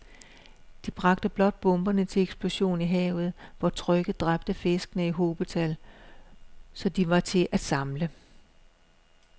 De bragte blot bomberne til eksplosion i havet, hvor trykket dræbte fiskene i hobetal, så de var til at samle